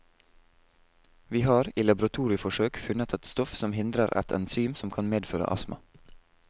Vi har, i laboratorieforsøk, funnet et stoff som hindrer et enzym som kan medføre astma.